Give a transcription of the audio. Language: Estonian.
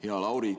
Hea Lauri!